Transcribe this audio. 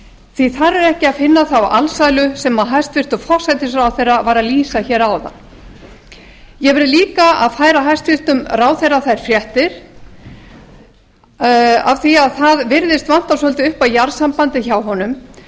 því að þar er ekki að finna þá alsælu sem hæstvirtur forsætisráðherra var að lýsa hér áðan ég verð líka að færa hæstvirtum ráðherra þær fréttir af því að það virðist vanta svolítið upp á jarðsambandið hjá honum